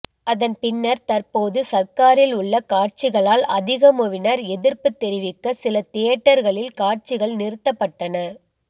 அதன்பின்னர் தற்போது சர்காரில் உள்ள காட்சிகளால் அதிகமுவினர் எதிர்ப்பு தெரிவிக்க சில தியேட்டர்களில் காட்சிகள் நிறுத்தப்பட்டன